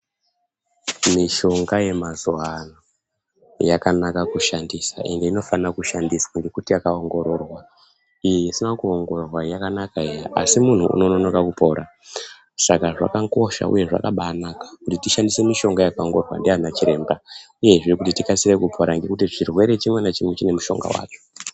Mishonga yamazuvaano yakanaka kushandisa ende inofana kushandiswa ngekuti yakaongororwa. Iyi isina kuongororwa iyi yakanaka eya, asi munhu uno nonoka kupora, saka zvakakosha uye zvakabaanaka kuti tishandise mishonga yakaongororwa ndiana chiremba uyezve kuti tikasire kupora ngekuti chirwere chimwe nachimwe chine mushonga wacho.